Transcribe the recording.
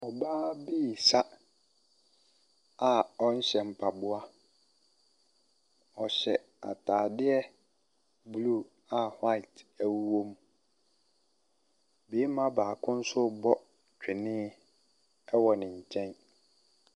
Ↄbaa bi resa a ɔnhyɛ mpaboa. Ↄhyɛ ataadeɛ blue a white wɔ mu. Barima baako nso rebɔ twene wɔ ne nkyɛn.